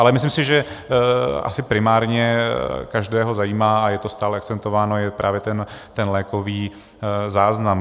Ale myslím si, že asi primárně každého zajímá, a je to stále akcentováno, je právě ten lékový záznam.